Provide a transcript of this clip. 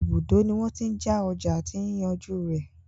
Ibùdó ní wọ́n tí n já ọjà àti yíyànjú rẹ̀.